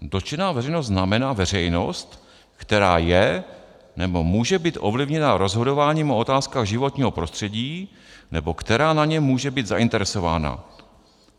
Dotčená veřejnost znamená veřejnost, která je nebo může být ovlivněna rozhodováním o otázkách životního prostředí nebo která na něm může být zainteresována;